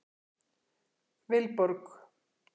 Vilborg